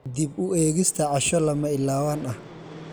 Dib u eegista casho lama ilaawaan ah.